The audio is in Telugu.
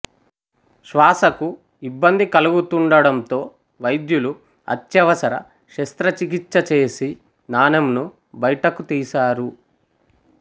శ్వాసకు ఇబ్బంది కలుగుతుండడంతో వైద్యులు అత్యవసర శస్త్రచికిత్స చేసి నాణెంను బయటకు తీసారు